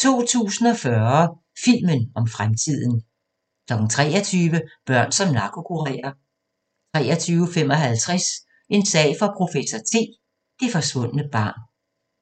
2040 – filmen om fremtiden 23:00: Børn som narkokurerer 23:55: En sag for professor T: Det forsvundne barn